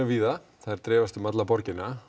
víða þær dreifast um alla borgina